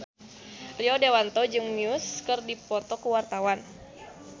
Rio Dewanto jeung Muse keur dipoto ku wartawan